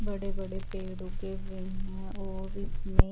बड़े बड़े पेड़ उगे हुए हैं और उसमें--